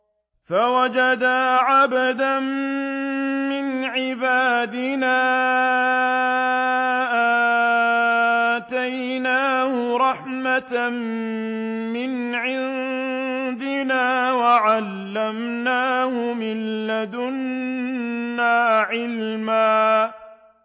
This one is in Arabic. فَوَجَدَا عَبْدًا مِّنْ عِبَادِنَا آتَيْنَاهُ رَحْمَةً مِّنْ عِندِنَا وَعَلَّمْنَاهُ مِن لَّدُنَّا عِلْمًا